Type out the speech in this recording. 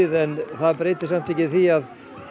en það breytir ekki því að